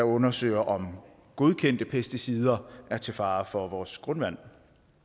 undersøger om godkendte pesticider er til fare for vores grundvand